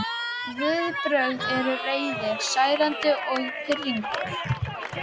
Viðbrögðin eru reiði, særindi og pirringur.